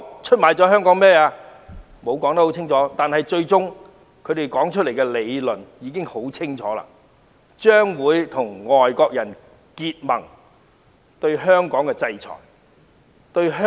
他們並無清楚交代，但他們最終提出的理論已清楚顯示他們將會與外國人結盟，制裁和打壓香港。